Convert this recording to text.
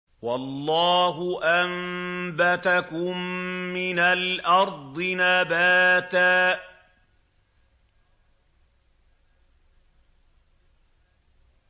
وَاللَّهُ أَنبَتَكُم مِّنَ الْأَرْضِ نَبَاتًا